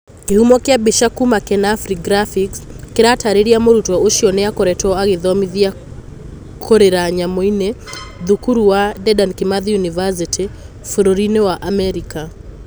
kĩhumo kia mbica kuma kenafri graphics kĩratarĩria Mũrutwo ũcio nĩ akoretwo agĩthomithĩo kũrira nyamũ -inĩ thukuru ea Dedan Kimathi University bũrũri-inĩ wa Amerika